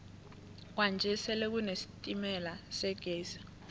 kwanje sele kune sitemala segezi